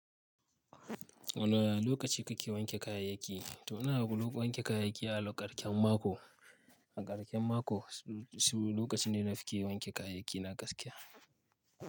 Wane lokaci kake wanke kayayyaki? To ina wanke kayayyaki a lokacin ƙarshen mako. A karshen mako, su lokaci ne nafke wanke kayayyaki na gaskiya.